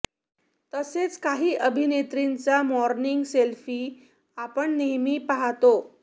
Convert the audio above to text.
तसेच काही अभिनेत्रींचा मॉर्निंग सेल्फी आपण नेहमी पाहातो